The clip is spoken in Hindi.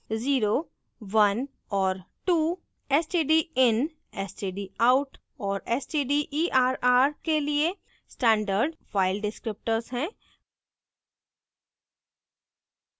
0 1 और 2 stdin stdout और stderr के लिए standard file descriptors हैं